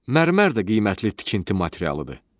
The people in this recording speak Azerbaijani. Mərmər də qiymətli tikinti materialıdır.